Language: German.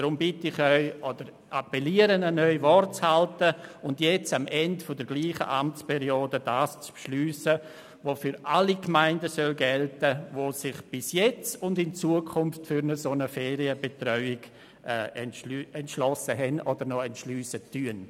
Ich bitte Sie, oder ich appelliere an Sie, Wort zu halten und am Ende derselben Amtsperiode das zu beschliessen, was für alle Gemeinden gelten soll, die sich bis jetzt und in Zukunft für eine solche Ferienbetreuung entschlossen haben oder noch entschliessen werden.